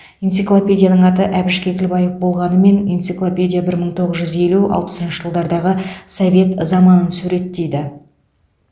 энциклопедияның аты әбіш кекілбаев болғанымен энциклопедия бір мың тоғыз жүз елу алпысыншы жылдардағы совет заманын суреттейді